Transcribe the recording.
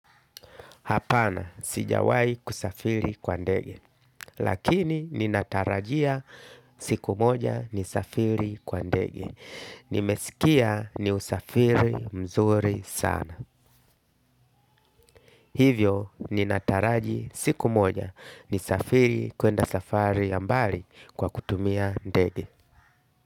Hapana sijawai kusafiri kwa ndege. Lakini ninatarajia siku moja ni safiri kwa ndege. Nimesikia ni usafiri mzuri sana. Hivyo ninataraji siku moja nisafiri kwenda safari ya mbali kwa kutumia ndege.